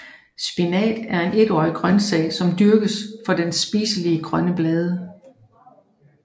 Spinat er en etårig grøntsag som dyrkes for dens spiselige grønne blade